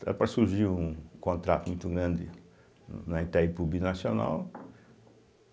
Está para surgir um contrato muito grande na Itaipu Binacional.